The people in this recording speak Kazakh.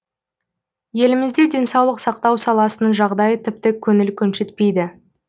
елімізде денсаулық сақтау саласының жағдайы тіпті көңіл көншітпейді